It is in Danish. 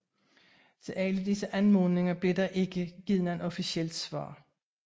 Til alle disse anmodninger blev der ikke givet noget officielt svar